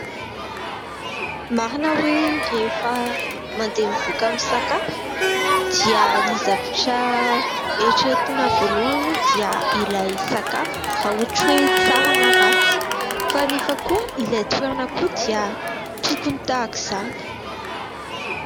Marina hoe rehefa mandeha mivoaka misakafo dia ny zavatra eritreretina voalohany aloha dia ilay sakafo, raha ohatra hoe tsara na ratsy fa anefa koa ilay toerana koa dia tokony tahaka izany.